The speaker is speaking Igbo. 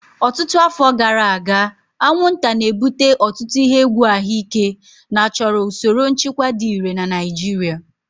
Ọtụtụ afọ gara aga, anwụnta na-ebute ọtụtụ ihe egwu ahụike na chọrọ usoro nchịkwa dị irè na Naijiria.